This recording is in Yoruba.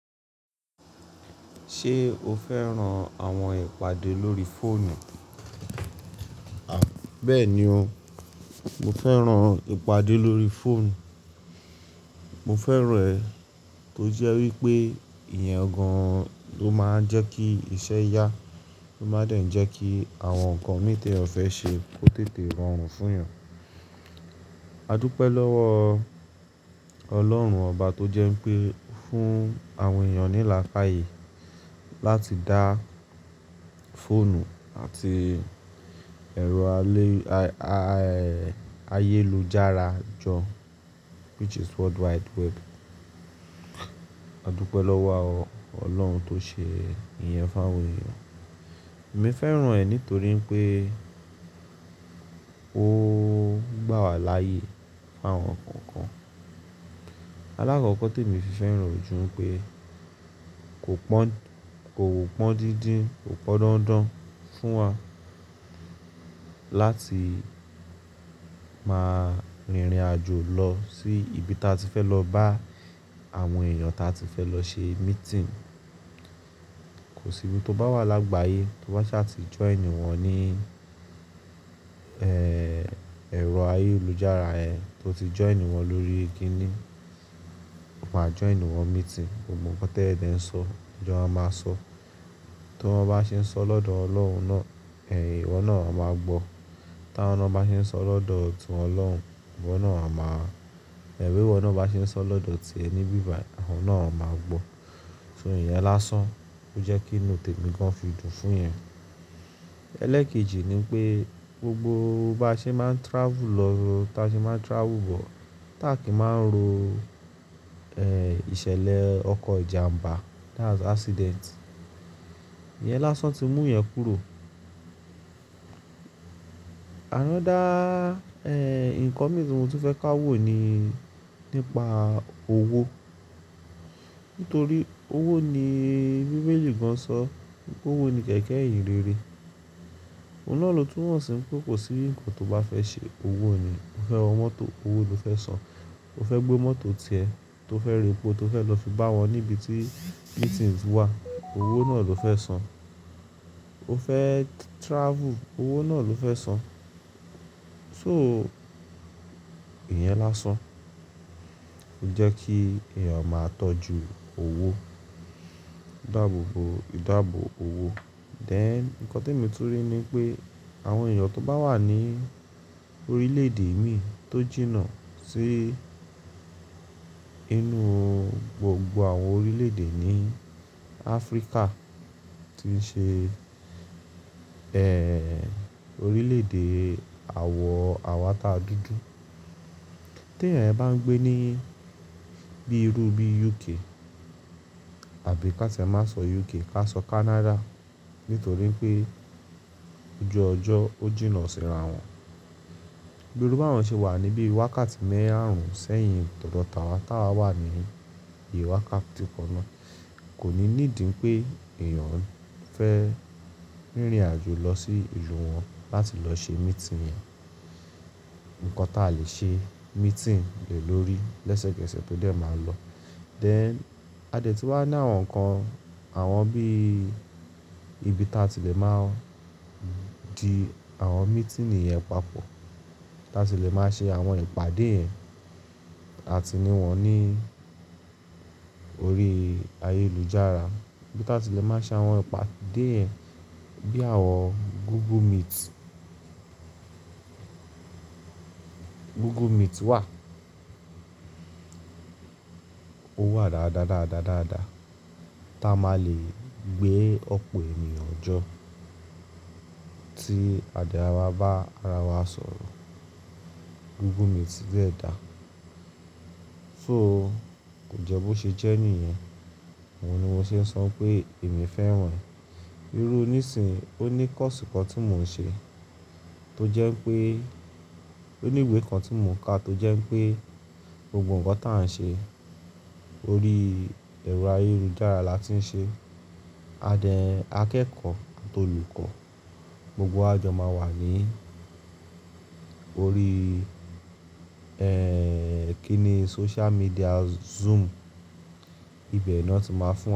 Ṣé o fẹ́ran àwọn ìpàdé lórí fóònù? Bẹ́ẹ̀ni o, mo fẹ́ran ìpàdé lórí fóònù. Mo fẹ́ràn rẹ̀ tó jẹ́ wípé ìyẹn gan-an ló máa ń jẹ́ kí iṣẹ́ yá, ló máa ń dẹ̀ ń jẹ́ kí àwọn nǹkan ní tí ẹ fẹ́ ṣe ó tètè rọrùn fún yàn. Adúpẹ́ lọ́wọ́ Ọlọ́run ọba tó jẹ́ pé fún àwọn èèyàn ní lààkàyè láti dá fóònù àti ẹ̀rọ ayélujára jọ, which is worldwide web. Adúpẹ́ lọ́wọ́ Ọlọ́run tó ṣe ìyẹn fún àwọn èèyàn. Èmi fẹ́ràn rẹ̀ nítorí pé ó gbà wà láàyè fún àwọn nǹkan kan. Alákọ̀ọ́kọ́ tí emi fi fẹ́ràn ò jù pé kò pọ́n, kò pọ́n díndín, kò pọ́n dánndán fún wa láti máa rìnrìn-àjò lọ sí ibi tí a ti fẹ́ lọ bá àwọn èèyàn tí a ti fẹ́ lọ ṣe meeting. Kò sí ibi tó bá wà lágbàáyé tó bá ṣà ti join wọ́n ní, ẹ́, ẹ̀rọ ayélujára yẹn tó ti join wọ́n lórí ki ni, o máa join wọ́n meeting. Gbogbo nǹkan tí ẹ dẹ̀ ń sọ, lo ma máa sọ. Tó wọn bá ṣe ń sọ lọ́dọ̀ ọlọ́hun náà, ẹ̀, ìwọ náà a máa gbọ́. Tá wọn náà bá ṣe sọ lọ́dọ̀ ti wọn lohùn, ìwọ náà a máa, ẹ bí wọn náà bá ṣe sọ lọ́dọ̀ ti ẹ nibí bàyìí, awọn náà a máa gbọ́. So ìyẹn lásán. Ó jẹ́ kí inú tèmi gan fi dùn fún yẹn. Ẹlẹ́kẹ́ji nipé gbogbo baa ṣe máa ń travel lọ, tá ṣe máa ń travel bọ̀, táàkì máa ń ro, ẹ́, ìṣẹ̀lẹ̀ ọkọ̀ ìjàmbá that's accident. Ìyẹn lásán tí mú yẹn kúrò. Another, ẹ́, nǹkan mìíràn tí mo tu fẹ́ ká wò nii nípa owó. Nítorí owó ni bíbélì gan-an ṣọ, owó ni kẹ̀kẹ́ ìhìn rere. Òun náà ló tún mọ̀ sí mi pé kò sí nǹkan tó bá fẹ́ ṣe owó ni. O fẹ́ wọ mọ́tò, owó ló fẹ́ san. O fẹ́ gbé mọ́tò tìẹ́, tó fẹ́ repọ̀ tó fẹ́ lọ fi bá wọn níbi tí meeting wà, owó náà ló fẹ́ san. O fẹ́ travel, owó náà ló fẹ́ san. So ìyẹn lásán. Jẹ́ kí èèyàn máa tọ́jú owó. Dáàbò bò, ìdábò owó. Then nǹkan tí mo tún ri ni pé àwọn èèyàn tó bá wà ní orílẹ̀-èdè imí tó jìnnà sí inú gbogbo àwọn orílẹ̀-èdè ní Áfríkà tí ṣe, ẹ́, orílẹ̀-èdè àwọ̀ àwà tà dúdú. Tí ẹ̀yán yen bá ń gbé ní bí irú bí UK àbí ká tí ẹ má sọ UK ká sọ Canada nítorí pé ojú ọjọ́ ó jìnnà síran wọn. Bí irú bá wọn ṣe wà níbi wákàtí marùn-ún sẹ́yìn tòdò tàwà tà wà wa ní bii wákàtí kannáà, kò ní níìdí pé èèyàn fẹ́ rìnrìn-àjò lọ sí ìlú wọn láti lọ ṣe meeting yẹn. Nǹkan tá lè ṣe meeting lè lórí lẹ́sẹ̀kẹ́sẹ̀ tó dẹ̀ máa lọ. Then a dè ti wá ní àwọn nǹkan àwọn bíí ibi tí a ti lè máa di àwọn meeting yẹn papọ̀, táa ti lè máa ṣe àwọn ìpàdé yẹn àti níwọ̀n ní orí ayélujára. Ibi ta tí lè máa ṣe àwọn ìpàdé yẹn bí àwọn Google Meet. Google Meet wà. Ó wà dáadáa, dáadáa, dáadáa. Táa máa lè gbé ọ̀pọ̀ ènìyàn jọ tí adé a má bá ara wa sọ̀rọ̀. Google Meet dẹ̀ dá. So kò jẹ́ bó ṣe jẹ́ nìyẹn. Òhun ni mo ṣe ń sọ pé èmi fẹ́ràn rẹ̀. Irú níṣin, ó ní course kan tí mò ń ṣe tó jẹ́ pé, ó ní ìwé kan tí mò ń ka tó jẹ́ pé gbogbo nǹkan tí à ń ṣe orí ẹ̀rọ ayélujára la ti ń ṣe. A dẹ̀ akẹ́kọ̀ àti olùkọ́ gbogbo àjọ máa wà ní orí, ẹ́, kí ni social media Zoom. Ibẹ̀ nà ti máa fún wa.